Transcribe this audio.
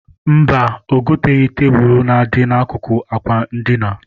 Mba, o goteghị tebụl na-adị n'akụkụ àkwà edina.